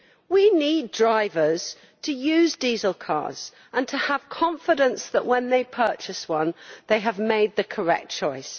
We need drivers to use diesel cars and to have confidence that when they purchase one they have made the correct choice.